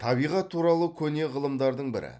табиғат туралы көне ғылымдардың бірі